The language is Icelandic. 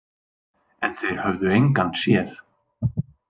En þeir höfðu engan séð.